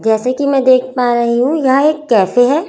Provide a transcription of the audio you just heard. जैसे कि मैं देख पा रही हूँ यह एक कैफे हैं।